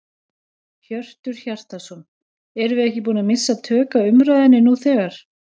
Hjörtur Hjartarson: Erum við ekki búin að missa tök á umræðunni nú þegar?